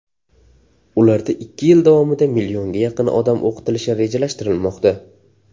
Ularda ikki yil davomida millionga yaqin odam o‘qitilishi rejalashtirilmoqda.